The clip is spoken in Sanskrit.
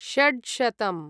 शड्शतम्